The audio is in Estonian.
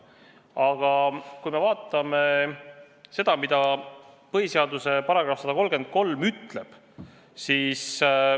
Aga vaatame, mida põhiseaduse § 133 ütleb.